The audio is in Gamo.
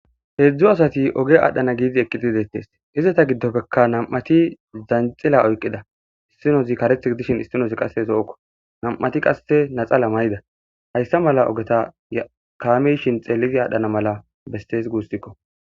heedzdzu asati oge aadhdhana giidi eqqitidettes izeta giddoppekka nam7ati zanxila oyqida istinozi kareth gidishin issinoz qasse so7okko nam7ati qasse naxala mayida hayssa mala ogeta ykaamishin xeellizi aadhdhana mala bestees guussikko